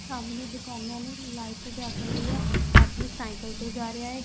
ਸਾਹਮਣੇ ਦੁਕਾਨਾਂ ਨੇ ਲਾਈਟ ਜੱਗ ਰਹੀ ਐ ਇੱਕ ਆਦਮੀ ਸਾਈਕਲ ਤੇ ਜਾ ਰਿਹਾ ਏ।